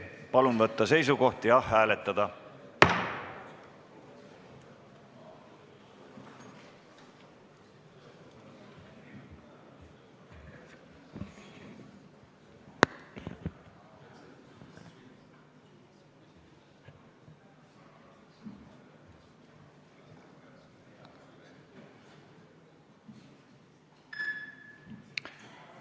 Palun võtta seisukoht ja hääletada!